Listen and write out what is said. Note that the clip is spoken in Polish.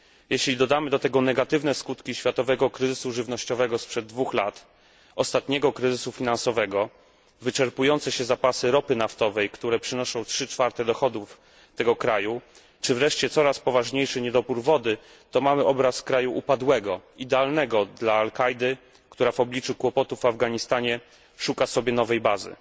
Jeśli dodamy do tego negatywne skutki światowego kryzysu żywnościowego sprzed 2 lat, ostatniego kryzysu finansowego, wyczerpujące się zapasy ropy naftowej, które przynoszą dochodów tego kraju, czy wreszcie coraz poważniejszy niedobór wody, to mamy obraz kraju upadłego, idealnego dla al Kaidy, która w obliczu kłopotów w Afganistanie szuka sobie nowej bazy.